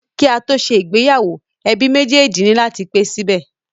Ki a to ṣe ìgbéyàwó, ẹbí méjèjì ni lati pe sibẹ.